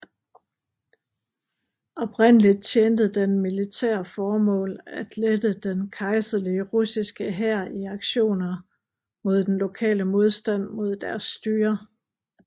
Oprindeligt tjente den militære formål at lette den kejserlige russiske hær i aktioner mod den lokale modstand mod deres styre